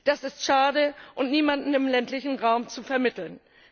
Das ist schade und niemandem im ländlichen Raum zu vermitteln.